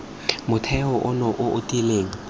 motheo ono o o tiileng